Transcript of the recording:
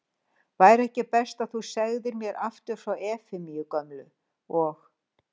Væri ekki best að þú segðir mér aftur frá Efemíu gömlu. og